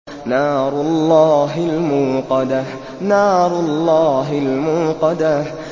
نَارُ اللَّهِ الْمُوقَدَةُ